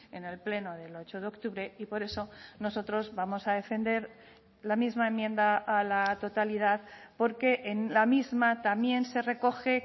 en el pleno del ocho de octubre y por eso nosotros vamos a defender la misma enmienda a la totalidad porque en la misma también se recoge